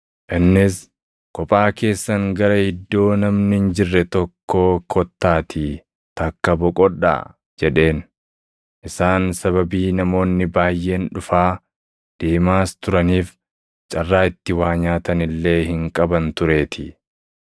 Innis, “Kophaa keessan gara iddoo namni hin jirre tokkoo kottaatii takka boqodhaa” jedheen; isaan sababii namoonni baayʼeen dhufaa, deemaas turaniif carraa itti waa nyaatan illee hin qaban tureetii.